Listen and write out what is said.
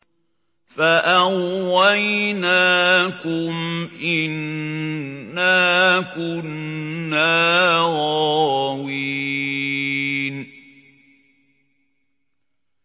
فَأَغْوَيْنَاكُمْ إِنَّا كُنَّا غَاوِينَ